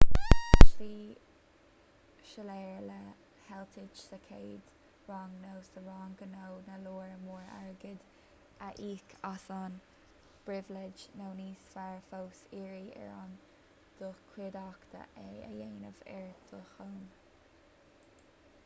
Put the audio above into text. an tslí shoiléir le heitilt sa chéad rang nó sa rang gnó ná lear mór airgid a íoc as an bpribhléid nó níos fearr fós iarraidh ar do chuideachta é a dhéanamh ar do shon